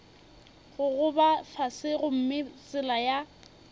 gogoba fase gomme tsela ya